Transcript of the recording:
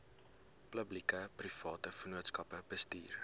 publiekeprivate vennootskappe bestuur